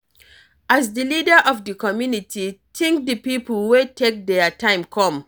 As di leader of di community, thank di pipo wey take their time come